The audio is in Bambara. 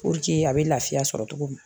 a bɛ lafiya sɔrɔ cogo min na